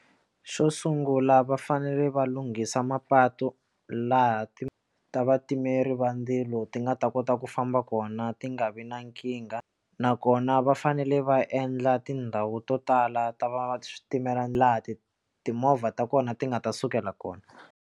Xo sungula va fanele va lunghisa mapatu laha ti ta vatimeri va ndzilo ti nga ta kota ku famba kona ti nga vi na nkingha nakona va fanele va endla tindhawu to tala ta va switimela laha ti timovha ta kona ti nga ta sukela kona.